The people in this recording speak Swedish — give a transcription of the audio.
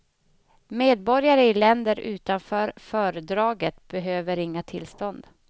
Medborgare i länder utanför fördraget behöver inga tillstånd.